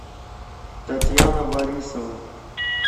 татьяна борисова